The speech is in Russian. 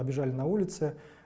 побежали на улице